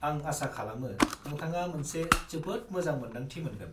-आं आसा खालामो नोंथाङा मोनसे जोबोद मोजां मोन्दांथि मोनगोन।